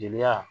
Jeliya